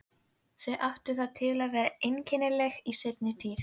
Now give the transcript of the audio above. Þau áttu það til að vera einkennileg í seinni tíð.